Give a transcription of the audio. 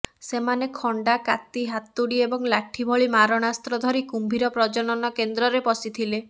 ସେମାନେ ଖଣ୍ଡା କାତି ହାତୁଡ଼ି ଏବଂ ଲାଠି ଭଳି ମାରଣାସ୍ତ୍ର ଧରି କୁମ୍ଭୀର ପ୍ରଜନନ କେନ୍ଦ୍ରରେ ପଶିଥିଲେ